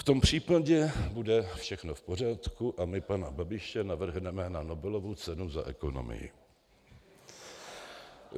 V tom případě bude všechno v pořádku a my pana Babiše navrhneme na Nobelovu cenu za ekonomii.